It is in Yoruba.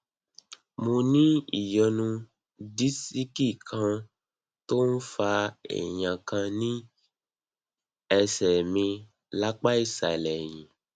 mo ní ìyọnu disiki kan tó ń fa èèyàn kan ní ẹsẹ mi lápá ìsàlẹ ẹyìn